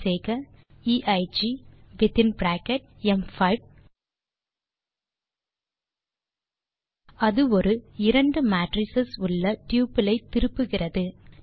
type செய்க eye within bracket ம்5 அது ஒரு இரண்டு மேட்ரிஸ் உள்ள டப்பிள் ஐ திருப்புகிறது